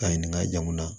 A ɲininka jamu na